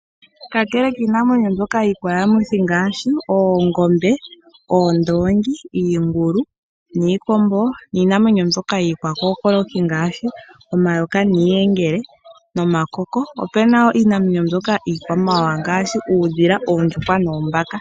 Kakele kiinamwenyo ngaashi iikwayamuthi ngaashi oongombe, oondoongi, iingulu, iikombo niinamwenyo mbyoka iikwakookoloki ngaashi omayoka , iiyingele nomakoko, opuna wo iinamwenyo iikwamawawa ngaashi uudhila, oondjuhwa noombaka.